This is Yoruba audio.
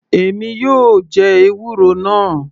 Èmi yóò jẹ ewúro náà.